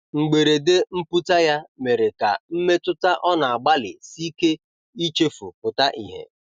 mgberede mputa ya mere ka mmetụta ọ na agbali sike ichefu pụta ihe